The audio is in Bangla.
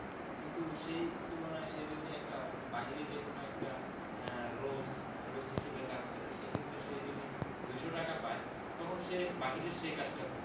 কিন্তু সেই তুলনায় সে যদি একটা বাহিরে যেকোনো একটা আহ rose, rose হিসেবে কাজ করে সেক্ষেত্রে সে যদি দুশো টাকা পায় তখন সে বাহিরে সেই কাজটা করবে।